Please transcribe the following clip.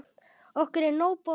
Okkur er nóg boðið